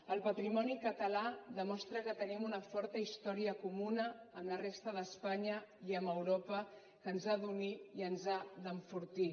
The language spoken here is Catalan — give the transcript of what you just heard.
el patrimoni català demostra que tenim una forta història comuna amb la resta d’espanya i amb europa que ens ha d’unir i ens ha d’enfortir